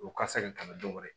O ka se ka tɛmɛ dɔ wɛrɛ ye